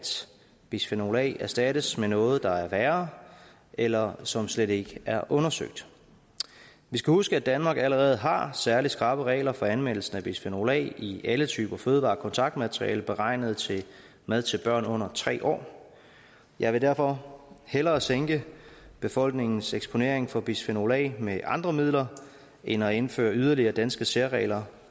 bisfenol a erstattes med noget der er værre eller som slet ikke er undersøgt vi skal huske at danmark allerede har særligt skrappe regler for anvendelsen af bisfenol a i alle typer fødevarekontaktmaterialer beregnet til mad til børn under tre år jeg vil derfor hellere sænke befolkningens eksponering for bisfenol a med andre midler end at indføre yderligere danske særregler